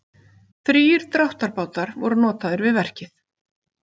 Þrír dráttarbátar voru notaðir við verkið